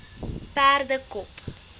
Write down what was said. perdekop